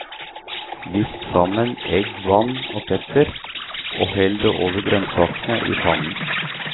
Visp sammen egg, vann og pepper og hell det over grønnsakene i pannen.